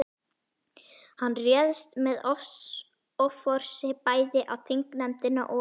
Hann réðst með offorsi bæði á þingnefndina og